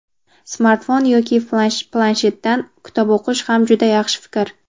smartfon yoki planshetdan kitob o‘qish ham juda yaxshi fikr.